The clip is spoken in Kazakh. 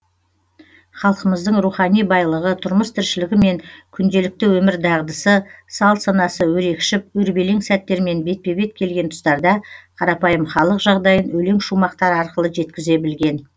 халқымыздың рухани байлығы тұрмыс тіршілігі мен күнделікті өмір дағдысы салт санасы өрекшіп өрбелең сәттермен бетпе бет келген тұстарда қарапайым халық жағдайын өлең шумақтары арқылы жеткізе білген